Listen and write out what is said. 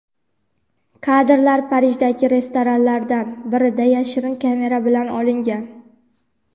kadrlar Parijdagi restoranlardan birida yashirin kamera bilan olingan.